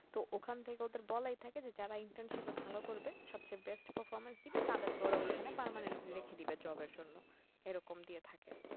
তো ওখান থেকে ওদের বলাই থাকে যে যারা internship এ ভালো করবে সবচেয়ে best performance দিবে তাদের কে ওরা ওখানে permanently রেখে দিবে job এর জন্য, এরকম দিয়ে থাকে